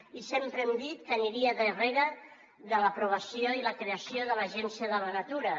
i sempre hem dit que aniria darrere de l’aprovació i la creació de l’agència de la natura